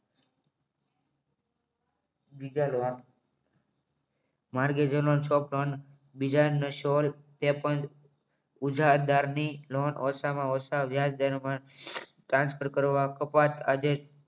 બીજાનો શોર તે પણ ઉજાદાળની લોન ઓછામાં ઓછા વ્યાજ દરમ્યાન ટ્રાન્સફર કરવા કપાત આજે